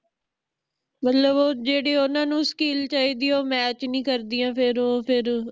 ਮਤਲਬ ਉਹ ਜਿਹੜੀ ਓਹਨਾ ਨੂੰ skill ਚਾਹੀਦੀ ਆ ਓ match ਨਹੀਂ ਕਰਦੀਆਂ ਫੇਰ ਓ ਫੇਰ ਓ